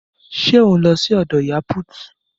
Ṣé ò ń lọ sí ọ̀dọ̀ ìyá put?